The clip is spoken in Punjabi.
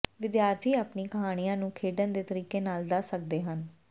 ਵਿਦਿਆਰਥੀ ਆਪਣੀ ਕਹਾਣੀਆਂ ਨੂੰ ਖੇਡਣ ਦੇ ਤਰੀਕੇ ਨਾਲ ਦੱਸ ਸਕਦੇ ਹਨ